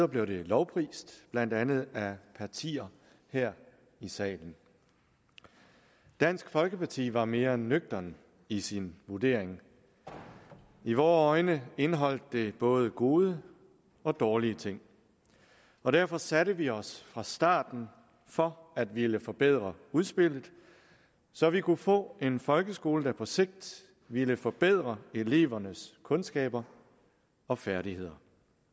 blev det lovprist blandt andet af partier her i salen dansk folkeparti var mere nøgtern i sin vurdering i vore øjne indeholdt det både gode og dårlige ting og derfor satte vi os fra starten for at ville forbedre udspillet så vi kunne få en folkeskole der på sigt ville forbedre elevernes kundskaber og færdigheder